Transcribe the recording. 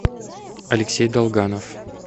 алексей долганов